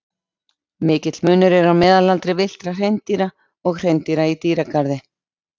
Mikill munur er á meðalaldri villtra hreindýra og hreindýra í dýragarði.